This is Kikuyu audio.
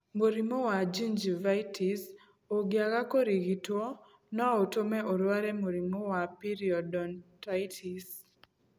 Mũrimũ wa gingivitis ũngĩaga kũrigitwo no ũtũme ũrware mũrimũ wa periodontitis.